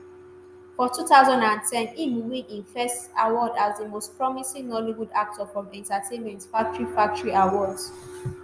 for 2010 im win im first award as di most promising nollywood actor from entertainment factory factory awards.